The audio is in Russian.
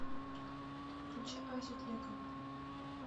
включи асю тлекову